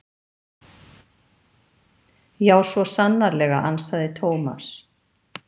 Já, svo sannarlega ansaði Thomas.